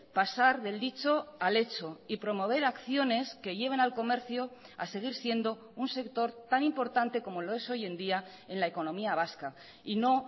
pasar del dicho al hecho y promover acciones que lleven al comercio a seguir siendo un sector tan importante como lo es hoy en día en la economía vasca y no